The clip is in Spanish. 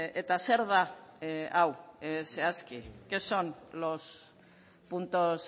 eta zer da hau zehazki qué son los puntos